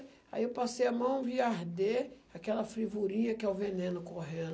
Aí eu passei a mão e vi arder aquela fervurinha que é o veneno correndo.